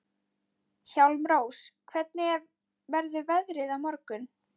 Hjálmrós, hvernig verður veðrið á morgun?